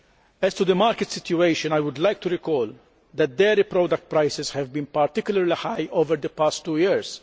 As to the market situation, I would like to remind you that dairy product prices have been particularly high over the past two years.